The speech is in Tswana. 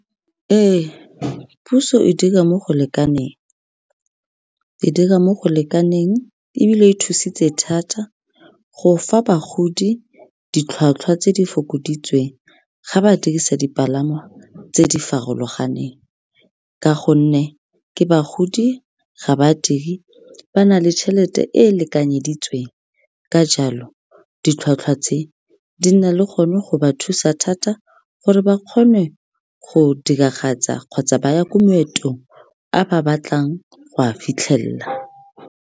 Ee, puso e dira mo go lekaneng, e dira mo go lekaneng ebile e thusitse thata go fa bagodi ditlhwatlhwa tse di fokoditsweng ga ba dirisa dipalangwa tse di farologaneng ka gonne ke bagodi, ga ba dire, ba na le tšhelete e e lekanyeditsweng, ka jalo ditlhwatlhwa tse di nna le gone go ba thusa thata gore ba kgone go diragatsa kgotsa ba ya ko maetong a ba batlang go a fitlhelela.